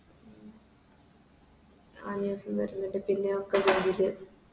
വര്ന്ന്ണ്ട് പിന്നെ ഒക്കെ